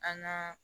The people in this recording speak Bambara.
An ka